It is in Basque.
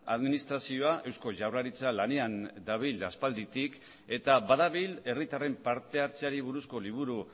administrazioa eusko jaurlaritza lanean dabil aspalditik eta badabil herritarren parte hartzeari buruzko liburu